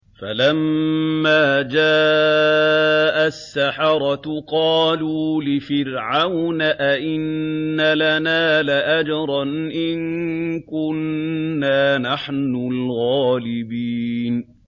فَلَمَّا جَاءَ السَّحَرَةُ قَالُوا لِفِرْعَوْنَ أَئِنَّ لَنَا لَأَجْرًا إِن كُنَّا نَحْنُ الْغَالِبِينَ